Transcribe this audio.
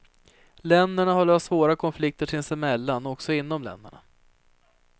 Länderna har löst svåra konflikter sinsemellan och också inom länderna.